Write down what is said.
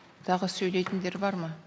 тағы сөйлейтіндер бар ма